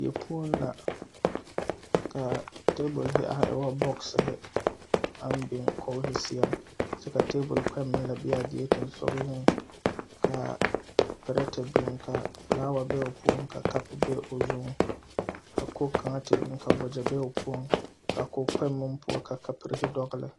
A deɛŋ kaŋ la la kaa dɔɔ are koo yieleŋ bee ka yɛlɛ oŋ yele o ba baŋ kyoo pɛglɛɛ mikeofoonkaa pɔge a ire are a kpaaha nuure koroo kyɛ ka nobɔ meŋ zeŋ ka mine leɛrɛ kaara a kaaroo ka ba eŋɛ yuoro